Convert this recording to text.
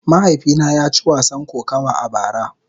Mahaifina ya ci wasan kokawa a bara.